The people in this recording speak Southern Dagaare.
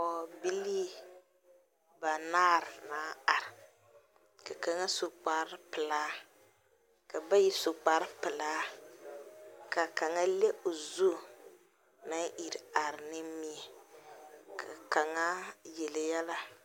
Poge bilii banaare naŋ are. Ka kanga su kpar pulaa, ka bayi su kpar pulaa. Ka kang le o zu naŋ ire are nimie. Ka kanga yele yele.